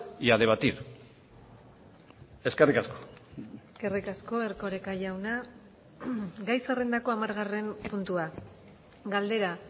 y a debatir eskerrik asko eskerrik asko erkoreka jauna gai zerrendako hamargarren puntua galdera